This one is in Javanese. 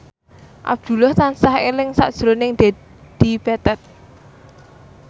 Abdullah tansah eling sakjroning Dedi Petet